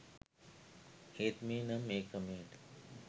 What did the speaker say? ඒත් මේ නම් ඒ ක්‍රමයට